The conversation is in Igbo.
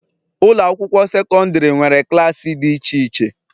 Ụlọ akwụkwọ sekọndrị nwere klaasị dị iche iche.